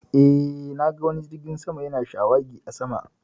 Eh, na ga wani jirgin sama ya na shawagi a sama